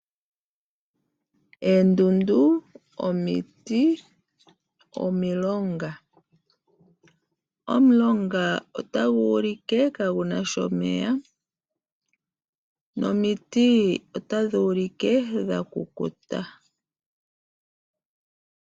Oondundu, omiti nomilonga. Omulonga otagu ulike kaagu na sha omeya nomiti otadhi ulike dha kukuta.